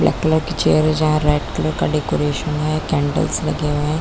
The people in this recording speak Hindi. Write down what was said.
ब्लैक कलर की चेयर है जहाँ रेड कलर काडेकोरेशन है कैंडल्स लगे हुए है।